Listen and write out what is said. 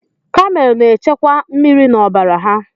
Kamel na echekwa mmiri na ọbara ha.